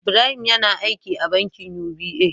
Ibrahim yAna aiki a bankin UBA